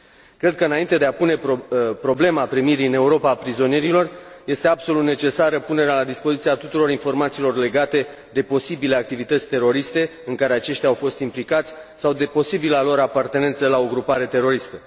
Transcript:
Cred că înainte de a pune problema primirii în Europa a prizonierilor, este absolut necesară punerea la dispoziție a tuturor informațiilor legate de posibile activități teroriste în care aceștia au fost implicați sau de posibila lor apartenență la o grupare teroristă.